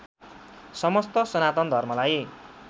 समस्त सनातन धर्मलाई